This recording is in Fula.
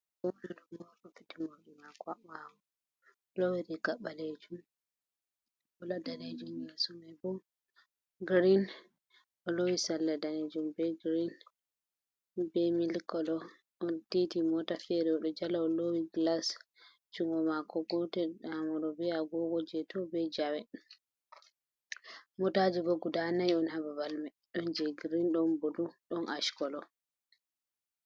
Goɗɗo ɗon waati fiitet morɗi maako haa ɓaawo,o ɗo loowi riigayel ɓaleejum yeeso may bo green. O loowi salla daneejum, be girin, be milikolo, on titi moota feere o ɗo jala loowi gilas. Junngo maako gotel nyaamo be agogo jey to ,be jawe. Motaaji bo guda nayi on ha babal may ɗon jey girin ,ɗon bulu, ɗn ackolo.